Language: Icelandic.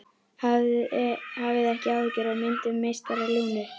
Hafið ekki áhyggjur af myndum meistara Lúnu.